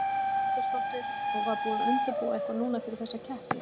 Hugrún Halldórsdóttir: Og var búið að undirbúa eitthvað núna fyrir þessa keppni?